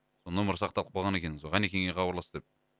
нөмері сақталып қалған екен сол ғанекеңе хабарлас деп